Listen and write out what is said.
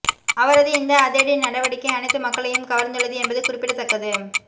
அவரது இந்த அதிரடி நடவடிக்கை அனைத்து மக்களையும் கவர்ந்துள்ளது என்பது குறிப்பிடத்தக்கது